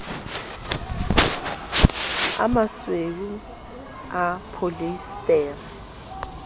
a masweu a pholiesetere a